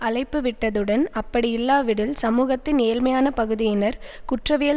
அழைப்புவிட்டதுடன் அப்படியில்லாவிடில் சமூகத்தின் ஏழ்மையான பகுதியினர் குற்றவியல்